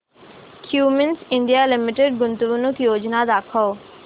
Cummins India limited गुंतवणूक योजना दाखव